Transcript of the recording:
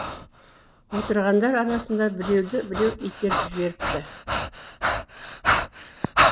отырғандар арасында біреуді біреу итеріп жіберіпті